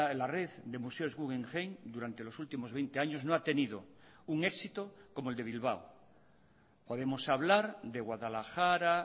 la red de museos guggenheim durante los últimos veinte años no ha tenido un éxito como el de bilbao podemos hablar de guadalajara